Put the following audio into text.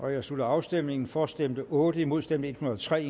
jeg slutter afstemningen for stemte otte imod stemte en hundrede og tre